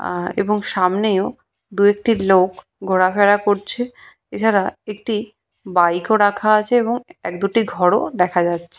আআ এবং সামনেও দু একটি লোক ঘোরাফেরা করছে। এছাড়া একটি বাইক ও রাখা আছে এবং এক দুটি ঘর ও দেখা যাচ্ছে।